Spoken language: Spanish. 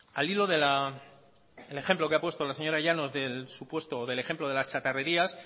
al hilo del ejemplo que ha puesto la señora llanos del supuesto del empleo de las chatarrerías